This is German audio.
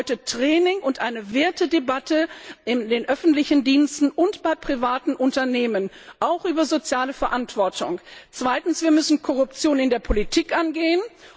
Das bedeutet Training und eine Wertedebatte in den öffentlichen Diensten und bei privaten Unternehmen, auch über soziale Verantwortung. Zweitens Wir müssen Korruption in der Politik angehen.